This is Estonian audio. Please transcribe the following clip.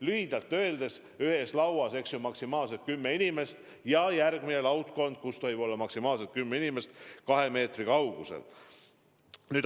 Lühidalt öeldes: ühes lauas võib olla maksimaalselt kümme nimest ja järgmine laudkond, kus tohib olla maksimaalselt kümme inimest, peab olema kahe meetri kaugusel.